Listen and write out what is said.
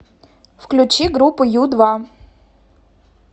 включи группу ю два